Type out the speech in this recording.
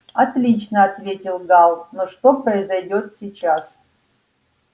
отлично ответил гаал но что произойдёт сейчас